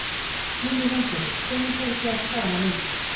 Lillý Valgerður: Hvenær fóruð þið af stað að leita?